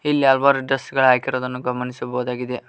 ಈ ಹಲವಾರು ಡ್ರೆಸ್ ಗಳ ಕಾಣಿರುವುದನ್ನು ಗಮನಿಸಬಹುದಾಗಿದೆ.